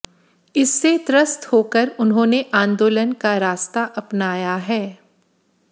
इससे त्रस्त होकर उन्होंने आंदोलन का रास्ता अपनाया है